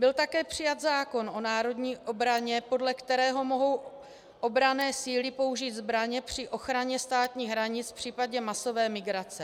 Byl také přijat zákon o národní obraně, podle kterého mohou obranné síly použít zbraně při ochraně státních hranic v případě masové migrace.